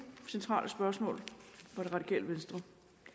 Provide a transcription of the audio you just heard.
centrale spørgsmål fra det radikale venstre